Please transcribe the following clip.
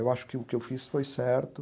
Eu acho que o que eu fiz foi certo.